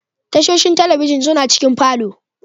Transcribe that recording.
Tashoshin talabijin suna cikin falo.